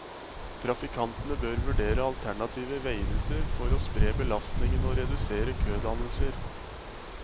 Trafikantene bør vurdere alternative veiruter for å spre belastningen og redusere kødannelser.